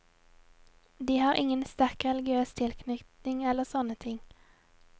De har ingen sterk religiøs tilknytning eller sånne ting.